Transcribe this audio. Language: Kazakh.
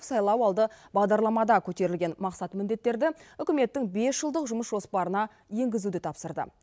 сайлауалды бағдарламада көтерілген мақсат міндеттерді үкіметтің бес жылдық жұмыс жоспарына енгізуді тапсырды